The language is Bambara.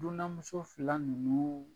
Dunanmuso fila nunnuu